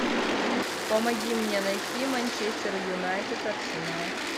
помоги мне найти манчестер юнайтед арсенал